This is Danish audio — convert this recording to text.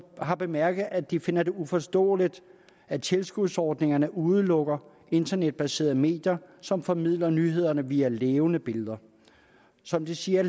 har bemærket at de finder det uforståeligt at tilskudsordningerne udelukker internetbaserede medier som formidler nyhederne via levende billeder som de siger